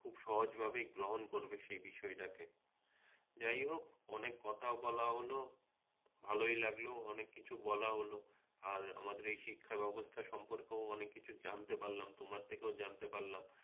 খুব সহজভাবেই গ্রহণ করবে সেই বিষয়টাকে যাই হোক অনেক কথা বলা হল ভালোই লাগলো অনেক কিছু বলা হল আর আমাদের এই শিক্ষাব্যবস্থা সম্পর্কেও অনেক কিছু জানতে পারলাম তোমার থেকেও জানতে পারলাম